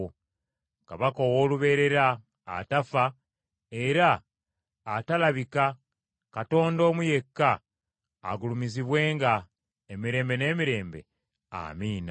Kabaka ow’olubeerera, atafa era atalabika, Katonda omu yekka, agulumizibwenga, emirembe n’emirembe. Amiina.